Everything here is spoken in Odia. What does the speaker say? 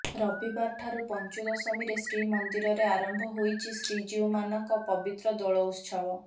ରବିବାରଠାରୁ ପଚୁଂଦଶମୀରେ ଶ୍ରୀମନ୍ଦିରରେ ଆରମ୍ଭ ହୋଇଛି ଶ୍ରୀଜୀଉ ମାନଙ୍କ ପବିତ୍ର ଦୋଳଉତ୍ସବ